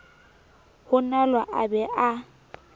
ho nalo a be a